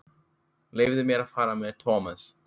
Leyfðu mér að fara með Thomas.